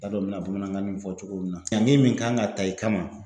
T'a dɔn mi na bamanankan nin fɔ cogo min na. Ɲaŋi min kan ŋa ta i kama